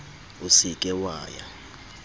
o se ke wa ya